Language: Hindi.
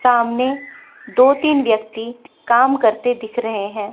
सामने दो तीन व्यक्ति काम करते दिख रहे हैं।